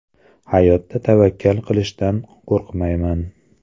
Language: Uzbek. Hayotda tavakkal qilishdan qo‘rqmayman.